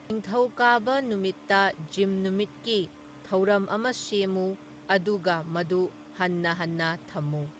ꯅꯤꯡꯊꯧꯀꯥꯕ ꯅꯨꯃꯤꯠꯇ ꯖꯤꯝ ꯅꯨꯃꯤꯠꯀꯤ ꯊꯧꯔꯝ ꯑꯃ ꯁꯦꯝꯃꯨ ꯑꯗꯨꯒ ꯃꯗꯨ ꯍꯟꯅ ꯍꯟꯅ ꯊꯝꯃꯨ